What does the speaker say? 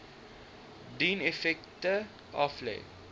dien effekte aflê